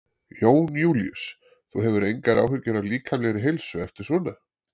Jón Júlíus: Þú hefur engar áhyggjur af líkamlegri heilsu eftir svona?